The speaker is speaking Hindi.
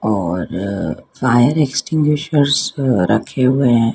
और फायर एक्सटिंग्विशर्स रखे हुए है।